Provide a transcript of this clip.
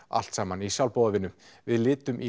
allt saman í sjálfboðavinnu við litum í